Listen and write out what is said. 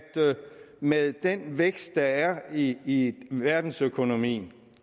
med den vækst der er i verdensøkonomien